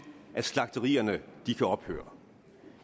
at slagterierne kan ophøre